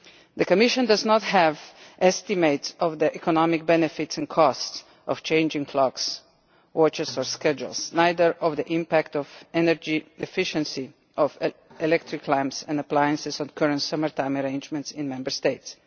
The Commission does not have estimates of the economic benefits and costs of changing clocks or adjusting schedules. Neither does it have estimates of the impact of energy efficiency of electric lamps and appliances under the current summer-time arrangements in Member States.